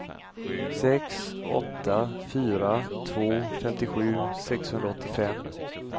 sex åtta fyra två femtiosju sexhundraåttiofem